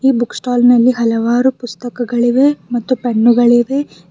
Book stall ನಲ್ಲಿ ಹಲವಾರು ಪುಸ್ತಕಗಳಿವೆ ಮತ್ತು ಪೆನ್ನುಗಳಿವೆ.